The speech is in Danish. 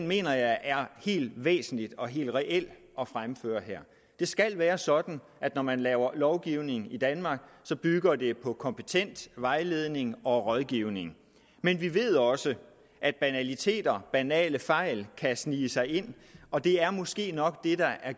mener jeg er helt væsentlig og helt reel at fremføre her det skal være sådan at når man laver lovgivning i danmark bygger det på kompetent vejledning og rådgivning men vi ved også at banaliteter banale fejl kan snige sig ind og det er måske nok det der er